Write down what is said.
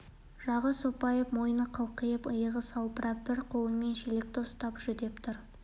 жағы сопайып мойны қылқиып иығы салбырап бір қолымен шелекті ұстап жүдеп тұр